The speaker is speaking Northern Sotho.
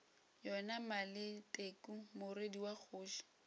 yona maleteku morwedi wa kgoši